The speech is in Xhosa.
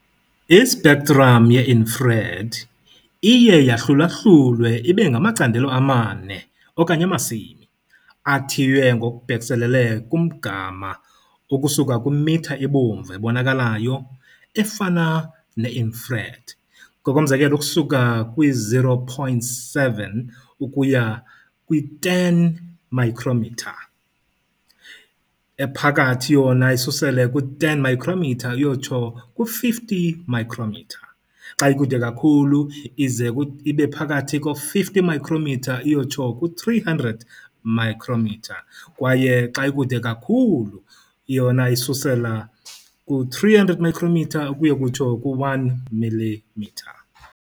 I -spectrum ye-infrared iye yahlulahlulwe yangamacandelo amane okanye amasimi, athiywe ngokubhekiselele "kumgama" ukusuka kwimitha ebomvu ebonakalayo, efana "ne-infrared", ngokomzekelo ukusuka kwi-0.7 ukuya kwi-10 micrometer, "ephakathi" yona isusela ku10 micrometer ukuyotsho ku-50 micrometer. Xa "ikude" kakhulu ize ibe phakathi ko50 iyokutsho ku300 micrometer kwaye "xa ikude kakhulu" yona isulela kwi-300 micrometer ukuya kutsho ku1milimeter.